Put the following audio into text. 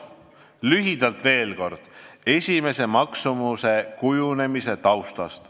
Lühidalt veel kord esialgse maksumuse kujunemise taustast.